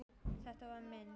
Þetta var minn.